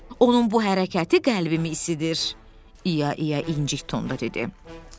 Onun bu hərəkəti qəlbimi isidir, İya İya inci tonunda dedi.